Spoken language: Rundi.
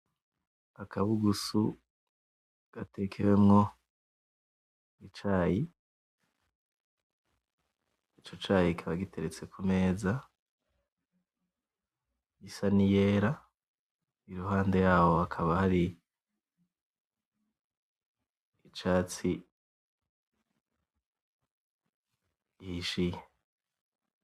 Akabugusu gatekewemwo icayi. Ico cayi kikaba giteretse ku meza isa niyera iruhande yaho hakaba hari icatsi gihishiye.